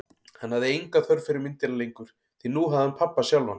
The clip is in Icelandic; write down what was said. Hann hafði enga þörf fyrir myndina lengur, því nú hafði hann pabba sjálfan.